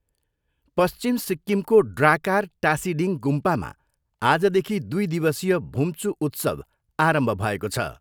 पश्चिम सिक्किमको ड्राकार टासिडिङ गुम्पामा आजदेखि दुई दिवसीय भुम्चू उत्सव आरम्भ भएको छ।